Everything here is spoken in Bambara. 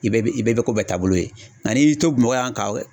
I bɛ bi i bɛɛ bɛ ko bɛɛ taabolo ye nka n'i y'i to Bamakɔ yan ka